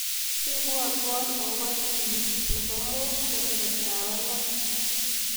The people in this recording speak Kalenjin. Sibwatwa akobo tuiyenyu nebo mutsi kebebertap angwan.